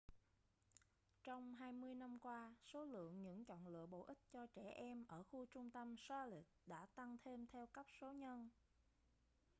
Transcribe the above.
trong 20 năm qua số lượng những chọn lựa bổ ích cho trẻ em ở khu trung tâm charlotte đã tăng thêm theo cấp số nhân